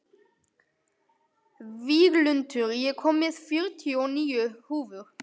Víglundur, ég kom með fjörutíu og níu húfur!